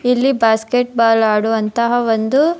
ಇಲ್ಲಿ basketball ಆಡುವಂತಹ ಒಂದು.